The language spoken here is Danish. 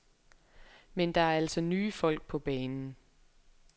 Men der er altså nye folk på banen.